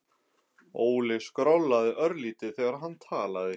Óli skrollaði örlítið þegar hann talaði.